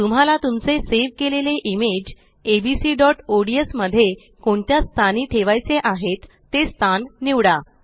तुम्हाला तुमचे सेव केलेले इमेजabcods मध्ये कोणत्या स्थानी ठेवायचे आहेत ते स्थान निवडा